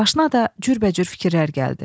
Başına da cürbəcür fikirlər gəldi.